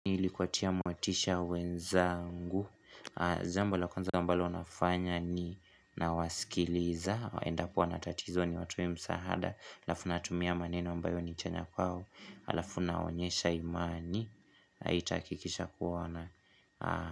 Ili kuwatia motisha wenzangu jambo la kwanza ambalo nafanya ni Nawasikiliza endapo wanatatizo niwatoe msaada alafu natumia maneno ambayo ni chanya kwao alafu nawaonyesha imani itakikisha kuwa wana.